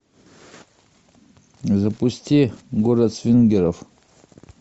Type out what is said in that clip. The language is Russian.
запусти город свингеров